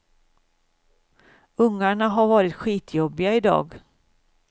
Ungarna har varit skitjobbiga i dag.